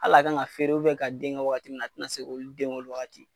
Al'a kan ŋa feere ka den ŋɛ wagati min na a ti na sen k'olu den o wagati.